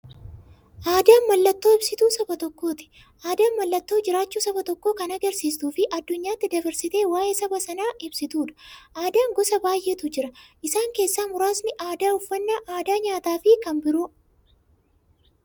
Aadaan mallattoo ibsituu saba tokkooti. Aadaan mallattoo jiraachuu saba tokkoo kan agarsiistufi addunyyaatti dabarsitee waa'ee saba sanaa ibsituudha. Aadaan gosa baay'eetu jira. Isaan keessaa muraasni aadaa, uffannaa aadaa nyaataafi kan biroo.